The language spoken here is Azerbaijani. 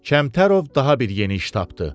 Kəmtərov daha bir yeni iş tapdı.